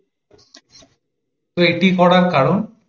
তো এটি করার কারণ?